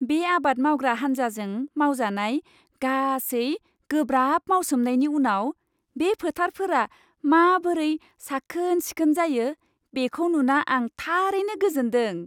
बे आबाद मावग्रा हान्जाजों मावजानाय गासै गोब्राब मावसोमनायनि उनाव बे फोथारफोरा माबोरै साखोन सिखोन जायो, बेखौ नुना आं थारैनो गोजोनदों।